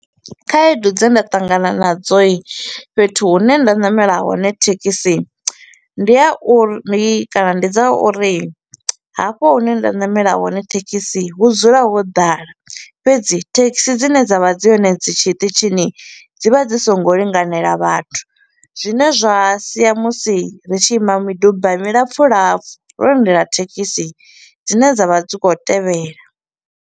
Khaedu dze nda ṱangana nadzo i, fhethu hune nda namela hone thekhisi ndi a uri ndi kana ndi dza uri hafho hune nda namela hone thekhisi hu dzula ho ḓala, fhedzi thekhisi dzine dza vha dzi hone dzi tshiṱitshini dzi vha dzi so ngo linganela vhathu, zwine zwa sia musi ri tshi ima miduba milapfu lapfu ro lindela thekhisi dzine dza vha dzi kho u tevhela.